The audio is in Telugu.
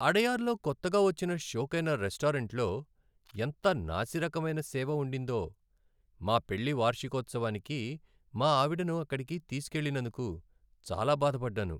అడయార్లో కొత్తగా వచ్చిన షోకైన రెస్టారెంటులో ఎంత నాసిరకమైన సేవ ఉండిందో, మా పెళ్లి వార్షికోత్సవానికి మా ఆవిడను అక్కడికి తీసుకెళ్లినందుకు చాలా బాధపడ్డాను.